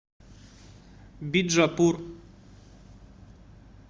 биджапур